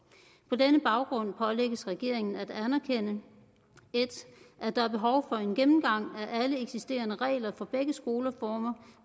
på denne baggrund pålægges regeringen at anerkende at der er behov for en gennemgang af alle eksisterende regler for begge skoleformer